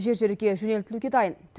жер жерге жөнелтілуге дайын